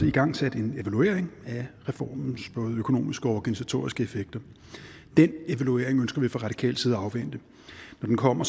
igangsat en evaluering af reformens både økonomiske og organisatoriske effekter den evaluering ønsker vi fra radikal side at afvente når den kommer